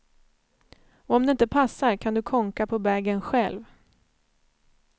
Om det inte passar kan du kånka på bagen själv.